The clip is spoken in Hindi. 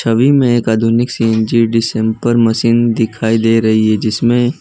मैं एक आधुनिक सीएनजी मशीन दिखाई दे रही है जिसमें--